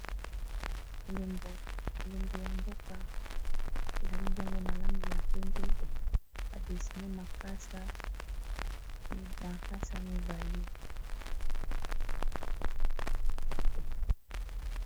Elembo ya mboka, ezali bongo na langi ya pembe ba dessine makasa mibale.